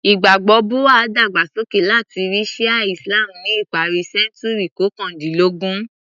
Ìgbàgbọ́ Buha’í dàgbà sókè látàrí Shi’a Islam ni ìparí sẹ́ńtúrì kọkàndínlógún.